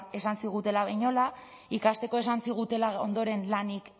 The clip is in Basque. esan zigutela behinola ikasteko esan zigutela ondoren lanik